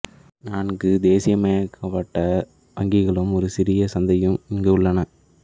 நான்கு தேசியமயமாக்கப்பட்ட வங்கிகளும் ஒரு சிறிய சந்தையும் இங்கு உள்ளன